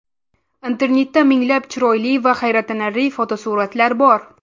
Internetda minglab chiroyli va hayratlanarli fotosuratlar bor.